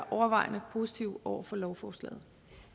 overvejende positive over for lovforslaget